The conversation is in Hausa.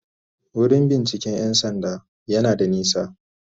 Wurin binciken 'yan sanda yana da nisa.*